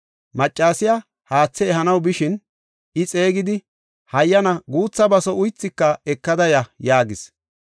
Maccasiya haathe ehanaw bishin I xeegidi, “Hayyana guutha baso uythika ekada ya” yaagis.